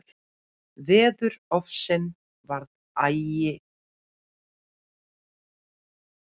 Veðurofsinn var ægilegur.